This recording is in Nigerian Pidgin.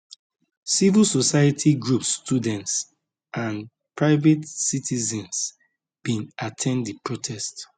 civil society groups students and private citizens bin at ten d di protest